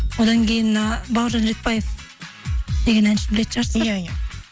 одан кейін мына бауыржан ретбаев деген әншіні білетін шығарсыздар иә иә